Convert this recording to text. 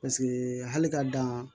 Paseke hali ka dan